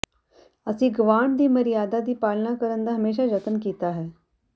ਅਸੀਂ ਗਵਾਂਢ ਦੀ ਮਰਿਆਦਾ ਦੀ ਪਾਲਣਾ ਕਰਨ ਦਾ ਹਮੇਸ਼ਾ ਯਤਨ ਕੀਤਾ ਹੈ